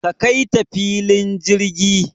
Ka Kaita filin jirgi